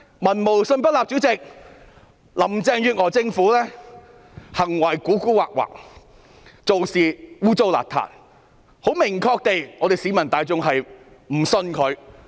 民無信不立，林鄭月娥政府的行為狡猾，做事骯髒，市民很明確地表示不信任她。